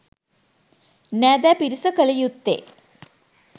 නෑදෑ පිරිස කළ යුත්තේ